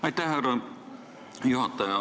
Aitäh, härra juhataja!